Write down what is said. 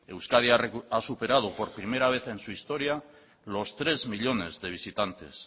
euskadi ha superado por primera vez en su historia los tres millónes de visitantes